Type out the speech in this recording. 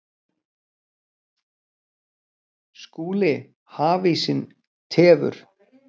SKÚLI: Hafísinn tefur.